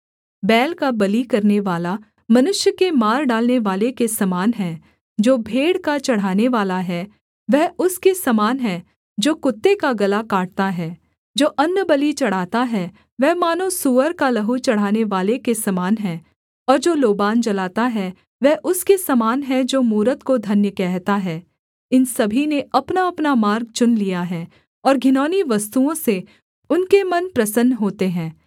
बैल का बलि करनेवाला मनुष्य के मार डालनेवाले के समान है जो भेड़ का चढ़ानेवाला है वह उसके समान है जो कुत्ते का गला काटता है जो अन्नबलि चढ़ाता है वह मानो सूअर का लहू चढ़ानेवाले के समान है और जो लोबान जलाता है वह उसके समान है जो मूरत को धन्य कहता है इन सभी ने अपनाअपना मार्ग चुन लिया है और घिनौनी वस्तुओं से उनके मन प्रसन्न होते हैं